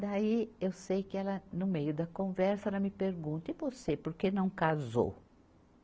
Daí, eu sei que ela, no meio da conversa, ela me pergunta, e você, por que não casou?